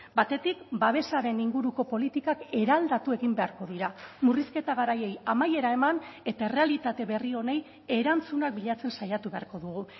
batetik babesaren inguruko politikak eraldatu egin beharko dira murrizketa garaiei amaiera eman eta errealitate berri honi erantzunak bilatzen saiatu beharko dugu